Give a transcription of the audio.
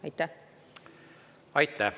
Aitäh!